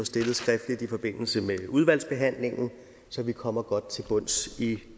stillet skriftligt i forbindelse med udvalgsbehandlingen så vi kommer godt til bunds i